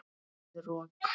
Verður rok.